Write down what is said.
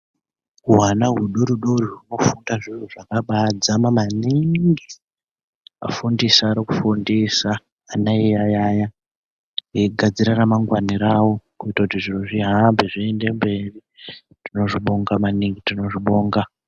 Hwana hudodori hwofunda zviro zvakabaadzama maningi. Vafundise arikufundisa ana eyaiya veigadzire ramangwana ravo kuitire kuti zviro zvihambe zvienderere kumberi. Tinozvibonga maningi, tinozvibonga.